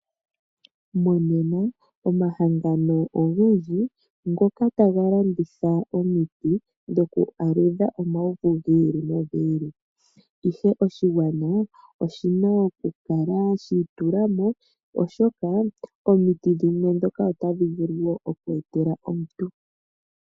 Monena omahangano ogendji ngoka taga landitha omiti dho kwaaludha omauvu gi ili nogi ili. Ihe oshigwana oshina okukala shiitulamo oshoka omiti dhimwe ndhoka otadhi vulu wo okweetela omuntu.